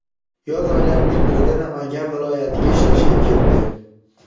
yoz oylarining birida Namangan viloyatiga ishlashga ketdi.